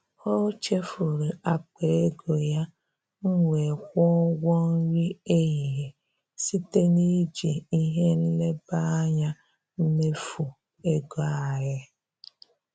Ọ chefuru akpa ego ya, m wee kwụọ ụgwọ nri ehihie site na iji ihe nleba anya mmefu ego anyị.